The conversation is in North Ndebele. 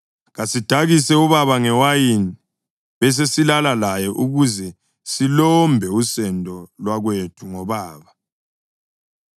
Kasidakise ubaba ngewayini besesilala laye ukuze silombe usendo lwakwethu ngobaba.”